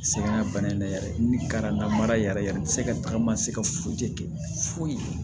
Sɛgɛn ŋa bana in ne yɛrɛ ni karama mara yɛrɛ yɛrɛ bɛ se ka tagama se ka foyi kɛ foyi ye